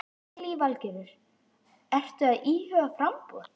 Lillý Valgerður: Ertu að íhuga framboð?